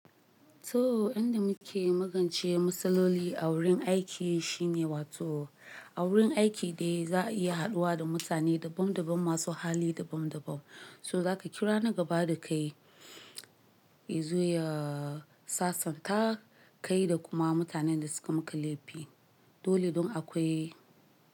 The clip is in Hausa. To, inda muke magance matsaloli a wurin aiki shine wato a wurin aiki dai za a iya haɗuwa da mutane daban daban masu hali daban daban. So za ka kira na gaba da kai, zai sasanta kai da kuma mutanen da suka maka laifi. Dole don akwai.